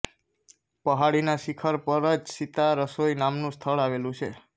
પહાડીના શિખર પર જ સીતા રસોઈ નામનું સ્થળ આવેલું છે